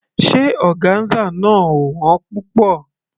Ṣé ọgáńsà náà ò wón púpọ̀?